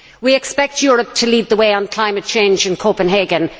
We expect Europe to lead the way on climate change in Copenhagen